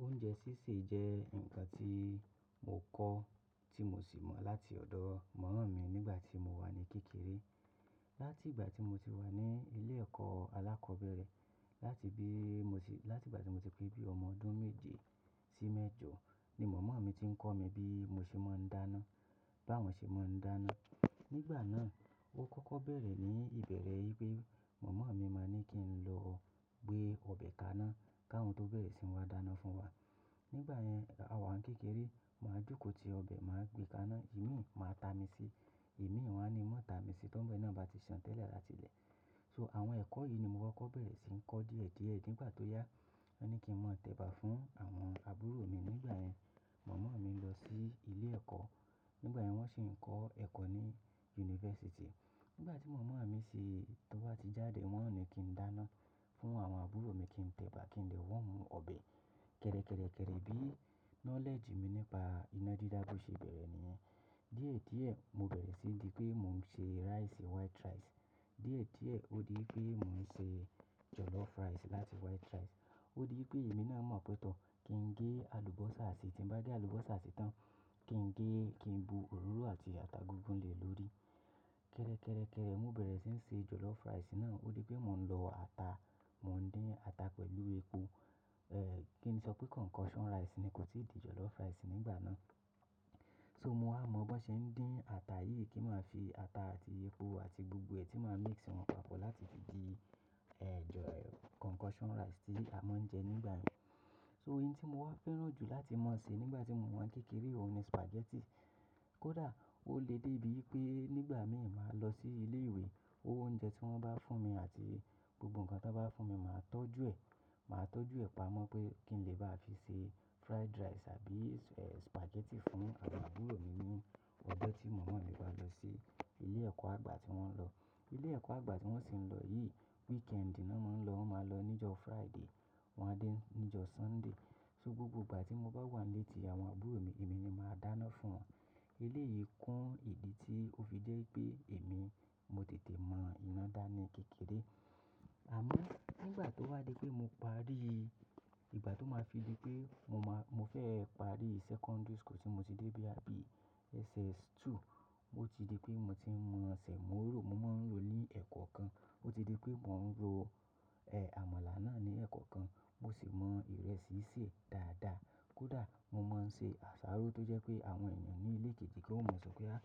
Oúnjẹ sísè jẹ́ ǹkan tí mo kọ́ tí mo sì mọ̀ láti ọ̀dọ̀ momo mi nígbà tí mo wà ní kékeré. Látìgbà tí mo ti wà ní ilé ẹ̀kọ́ alákọ́bẹ̀rẹ̀, láti bí mo ti, láti ìgbà tí mo ti pé bí ọmọ ọdún méje sí mẹ́jọ ni mọ̀mọ́ mi ti ń kọ́ mi bí mo ṣe máa ń dáná, bá wọn ṣe máa ń dáná. Nígbà náà ó kọ́kọ́ bẹ̀rẹ̀ ní ìbẹ̀rẹ̀ yì pé mọ̀mọ́ mi máa ní kí n lọ gbé ọbẹ̀ kaná ká wọn tó bẹ̀rẹ̀ sí ń wa dáná fún wa. Nígbà yẹn, àwa n kékeré máa jókòó ti ọbẹ̀, máa gbé kaná, imi máa ta mi si, imi wọn á ni má ta mi si tó bá ni náà bá ti ṣàn tẹ́lẹ̀ láti ilé. To àwọn ẹ̀kọ́ yìí ni mo kọ́kọ́ bẹ̀rẹ̀ sí ń kọ́ díẹ̀díẹ̀ nígbà tó yá. Wọ́n ní kí n máa tẹ̀bà fún àwọn àbúrò mi nígbà yẹn mọ̀mọ́ mi ń lọ sí ilé ẹ̀kọ́, nígbà yẹn wọ́n sì ń kọ́ ẹ̀kọ́ ní yunifásítì. Nígbà tí mọ̀mọ́ mi sì tun wá ti jáde, wọ́n ní kí n dáná fún àwọn àbúrò mi, kí n tẹ̀bà, kí n dè womú ọbẹ̀. Kẹ́rẹ́kẹ́rẹ́ kẹ́rẹ́ bí nolegi mi nípa iná dídá bó ṣe bẹ̀rẹ̀ nìyẹn. Díẹ̀díẹ̀ mo bẹ̀rẹ̀ sí í di pé mò ń ṣe raisi. Waiti raisi. Díẹ̀díẹ̀ ó di pé mò ń ṣe jọ̀lọ́fù rice láti white rice. Ó di pé èmi náà mọ̀ pé tọ́, kí n gé àlùbọ́sà si, tí n bá gé àlùbọ́sà sí tán kí n gé, kí n bu òróró àti ata gungùn lè lórí. Kẹ́rẹ́kẹ́rẹ́ kẹ́rẹ́ mo bẹ̀rẹ̀ sí ń ṣe jọ̀lọ́fù raisi náà, ó di pé mò ń lọ ata, mò ń dín ata pẹ̀lú epo, eh, kí n sọ pé konkosan raisi ni kò tí ì di jọ̀lọ́fù raisi nígbà náà. So mo á mọ bó ṣe ń dín ata yìí kí máa fi ata àti epo àti gbogbo ẹ̀ tí màá mikisi wọn papọ̀ láti fi di, eh, jọ, konkosan raisi tí a máa ń jẹ nígbà yẹn. So nti tí mo wá fẹ́ràn jù láti máa ṣe nígbà tí mo wà n kékeré òun ni supajeti Kódà ó le dé bíi ipé nígbà mìn máa lọ sí ilé ìwé, owó oúnjẹ tí wọ́n bá fún mi àti gbogbo ǹkan tí wọ́n bá fún mi máa tọ́jú ẹ̀. Màá tọ́jú ẹ̀ pamọ́ pé kí n lè bá a fi ṣe furaidi raisi àbí, eh, supajeti fún àwọn àbúrò mi ní ọjọ́ tí mọ̀mọ́ mi bá lọ sí ilé ẹ̀kọ́ àgbà tí wọ́n lọ. Ilé ẹ̀kọ́ àgbà ti wọ́n sì ń lọ yìí wikendi nán máa ń lọ, wọ́n máa lọ ní jọ́ Furaide wọ́n á dé ní jọ́ Sunde. So gbogbo ìgbà tí mo bá wà n létí àwọn àbúrò mi, èmi ni màá dáná fún wọn. Ilé yí kún ìdí tí ó fi jẹ́ ipé èmi mo tètè mọ iná dá ní kékeré. Àmọ́ nígbà tó wá dé pé mo parí ìgbà tó máa fi di pé mo máa, mo fẹ́ parí sekondiri suku tí mo ti dé boya bí SS2, ó ti di pé mo ti ń mọ sèmó ró, mo máa ń rò ó ní ẹ̀koo kan. Ó ti di pé mò ń ro, eh, àmàlà náà ní ẹ̀koo kan, mo sì mọ ìrẹ́sí sè dáadáa. Kódà mo máa ń ṣe àsáró tó jẹ́ pé àwọn èèyàn ní ilé kejì tan mọ́ sọ pé, "á,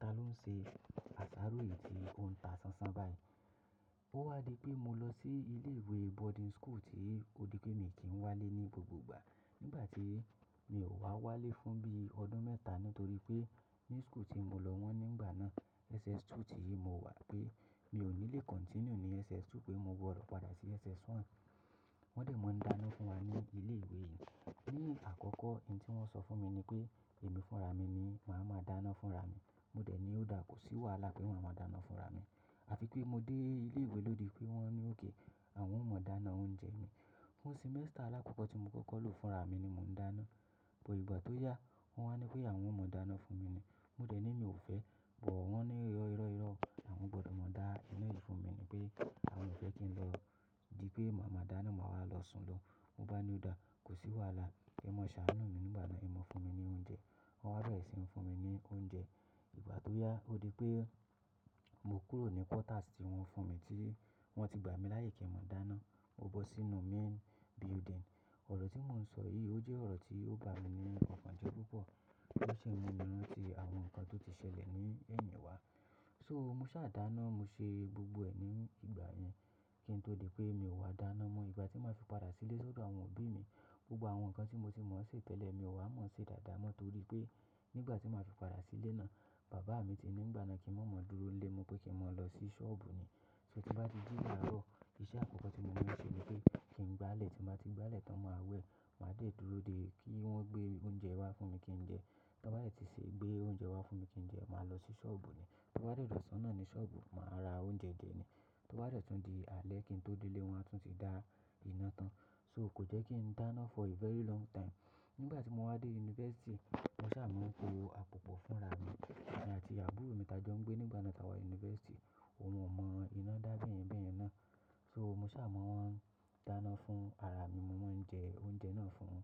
ta ló ń ṣe àsáró yìí tí ó ń ta ṣánṣán báyìí?" Ó wá di pé mo lọ sí ilé ìwé bodin suku tí ó di pé mi kì n wálé ní gbogbo ìgbà. Nígbà tí mi ò wá wálé fún bí i ọdún mẹ́ta nítorí pé ní suku tí mo lọ wọ́n nígbà náà SS2 tí mo wà pé mi ò ní lè kontiniu ní SS2 pé mo gbodo padà sí SS1. Wọ́n dẹ̀ máa ń dáná fún wa ní ilé ìwé yìí. Ni àkọ́kọ́ n tí wọ́n sọ fún mi ni pé èmi fúnra mi ni màá má dáná fúnra mi. Mo dẹ̀ ní ó dáa, kò sí wàálà pé maa má dáná fúnra mi. Àfi pé mo dé ilé ìwé lòdì pé wọ́n ní òkè àwọn ò mọ dáná oúnjẹ ni. Fún semester alákọ́kọ́ tí mo kọ́kọ́ lò fúnra mi ni mò ń dáná. Ìgbà tó yá wọ́n wá ní pé àwọn ò mọ dáná fún mi ni. Nígbà tí mi ò wá wálé fún bí i ọdún mẹ́ta nítorí pé ní suku tí mo lọ wọ́n nígbà náà SS2 tí mo wà pé mi ò ní lè kontiniu ní SS2 pé mo gbodo padà sí SS1. Awon gbodo ma da inai funmi nipe awon o fe ki n lo di pe maa ma dana maa wa lo sunlo. Mo ba ni oda, kosi waala e mo saanu mi nigbami e maa funmi ni ounje. Won wa bere si funmi ni ounje. Ìgbà tó yá o di pe mo kuro ni kotasi won funmi ti won won ti gbami laye kin mo dana Mo bọ́ sínú main building. Oro ti mo n so yi o je oro ti o bami ni okan je pupo To si n mu min ranti awon nkan to ti sele ni eyin wa So mo sa dana mo se gbogbo e ni igbayen Àmọ́ nígbà tó wá dé pé mo parí ìgbà tó máa fi di pé mo máa, mo fẹ́ parí sekondiri suku tí mo ti dé bí i àbí SS2, ó ti di pé mo ti ń mọ sèmo ró, mo máa ń rò ó ní ẹ̀kọ́ kan. Gbogbo awon nkan ti mo ti mon se tele mio wa mon se daada mo toripe, nigba ti maa fi pada sile naa baba mi ti ni nigba naa ki n ma ma duro n le mo, wi pe kin maa lo si soobu ni Tin ba ti ji laaro ise akoko ti mo maa n se ni pe kin gbale, ti mba ti gbale tan maa we, maa de duro de ki won o gbe ounje wa funmi ki n je Tan ba de ti se gbe ounje wa funmi kin je, maa lo si soobu ni. To ba de dosan naa ni soobu maa ra ounje je ni To ba de tun di ale kin to dele waa tun ti dana ina tan, So ko je kin dana fo a feri longi taimu Nigba ti mo wa de unifasiti, mo sa maa po apopo funra mi emi ati aburo mi ta jo n gbe nibga na ta wa ni unifasiti oun oo mo ina da beyen beyen naa So mo sa mo wa dana fun arami mo maa n je na fun.